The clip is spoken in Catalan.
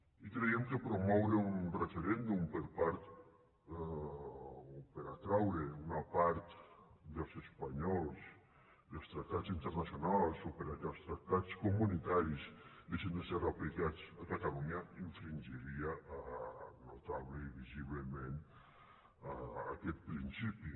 i creiem que promoure un referèndum per atraure una part dels espanyols dels tractats internacionals o perquè els tractats comunitaris deixin de ser aplicats a catalunya infringiria notablement i visiblement aquest principi